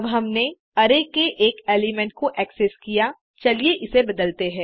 अब हमने अरै के एक एलिमेंट को एक्सेस किया चलिए इसे बदलते हैं